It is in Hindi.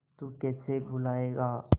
तू कैसे भूलाएगा